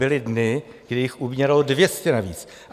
Byly dny, kdy jich umíralo 200 navíc!